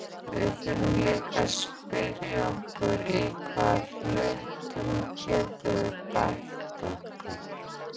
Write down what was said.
Við þurfum líka að spyrja okkur í hvaða hlutum getum við bætt okkur?